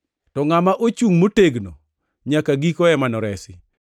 to ngʼat ma ochungʼ motegno nyaka giko ema noresi.